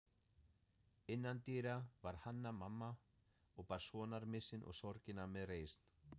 Innandyra var Hanna-Mamma og bar sonarmissinn og sorgina með reisn.